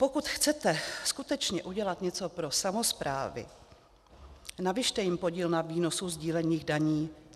Pokud chcete skutečně udělat něco pro samosprávy, navyšte jim podíl na výnosu sdílených daní.